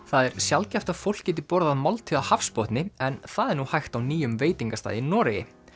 það er sjaldgæft að fólk geti borðað máltíð á hafsbotni en það er nú hægt á nýjum veitingastað í Noregi